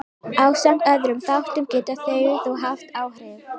Ásamt öðrum þáttum geta þau þó haft áhrif.